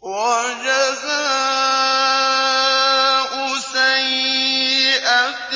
وَجَزَاءُ سَيِّئَةٍ